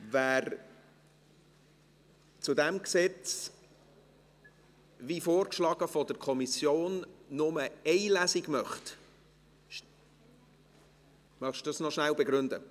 Wer zu diesem Gesetz – wie von der Kommission vorgeschlagen – nur eine Lesung durchführen möchte ... Möchten Sie dies noch rasch begründen?